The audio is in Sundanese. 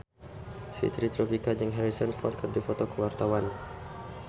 Fitri Tropika jeung Harrison Ford keur dipoto ku wartawan